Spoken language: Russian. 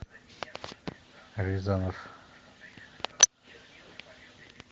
рязанов